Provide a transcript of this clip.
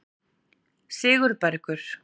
Sigurbergur